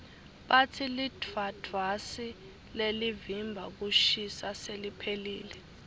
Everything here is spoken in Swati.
batsi lidvwadvwasi lelivimba kushisa seliphelile